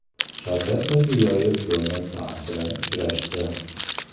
Shavkat Mirziyoyev Donald Tramp bilan uchrashdi.